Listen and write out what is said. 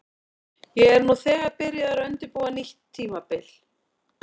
Ég er nú þegar byrjaður að undirbúa nýtt tímabil.